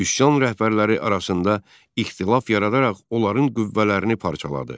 Üsyan rəhbərləri arasında ixtilaf yaradaraq onların qüvvələrini parçaladı.